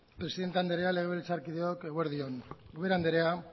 presidente andrea legebiltzarkideok eguerdi on ubera andrea